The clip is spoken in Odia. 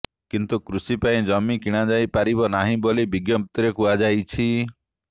କିନ୍ତୁ କୃଷି ପାଇଁ ଜମି କିଣାଯାଇ ପାରିବ ନାହିଁ ବୋଲି ବିଜ୍ଞପ୍ତିରେ କୁହାଯାଇଛି